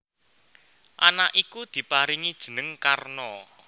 Anak iku diparingi jeneng Karna